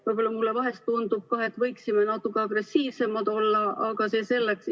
Võib-olla mulle vahel tundub, et võiksime natuke agressiivsemad olla, aga see selleks.